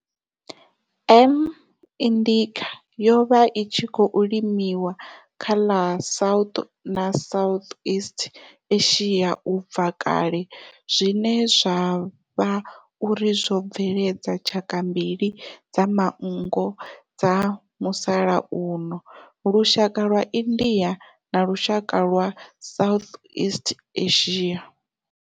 M. indicate yo vha i tshi khou limiwa kha ḽa South na Southeast Asia ubva kale zwine zwa vha uri zwo bveledza tshaka mbili dza manngo dza musalauno, lushaka lwa India na lushaka lwa Southeast Asia.